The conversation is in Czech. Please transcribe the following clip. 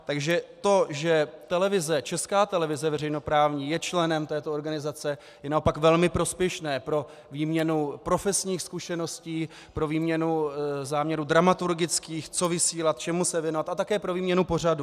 Takže to, že Česká televize veřejnoprávní je členem této organizace, je naopak velmi prospěšné pro výměnu profesních zkušeností, pro výměnu záměrů dramaturgických, co vysílat, čemu se věnovat, ale také pro výměnu pořadů.